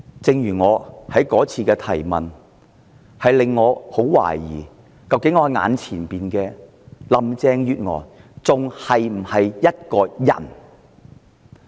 正如我那次提出質詢時所說，我十分懷疑，究竟我眼前的林鄭月娥是否仍是人？